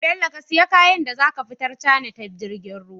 Bello ka siya kayan za zaka fitar china ta jirgin ruwa?